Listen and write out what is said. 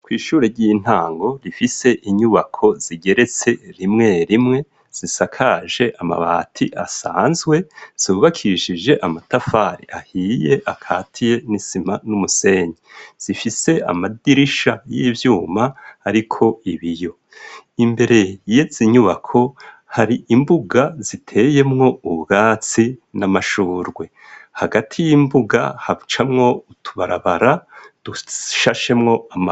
kw’ishuri ry'intango rifise inyubako zigeretse rimwe rimwe zisakaje amabati asanzwe zubakishije amatafari ahiye akatiye n'isima n'umusenyi zifise amadirisha y'ibyuma ariko ibiyo imbere yetse inyubako hari imbuga ziteyemwo ubwatsi n'amashurwe hagati y'imbuga hacamwo utubarabara dushashemwo.